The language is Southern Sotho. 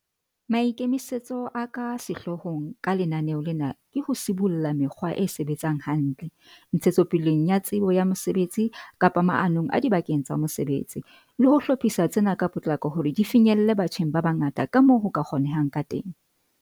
Maikemisetso a ka sehloohong ka lenaneo lena ke ho sibolla mekgwa e sebetsang hantle, ntshetsopeleng ya tsebo ya mosebetsi kapa maanong adibakeng tsa mosebetsi, le ho hlophisa tsena ka potlako hore di finyelle batjheng ba bangata kamoo ho ka kgonehang kateng.